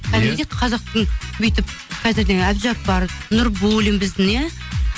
кәдімгідей қазақтың бүйтіп қазір деген әбдіжаппар нурбуллин біздің иә